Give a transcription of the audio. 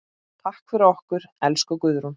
Takk fyrir okkur, elsku Guðrún.